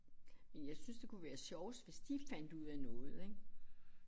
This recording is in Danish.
Men jeg synes det kunne være sjovest hvis de fandt ud af noget ik